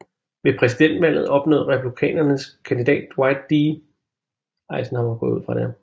Ved præsidentvalget opnåede republikanernes kandidat Dwight D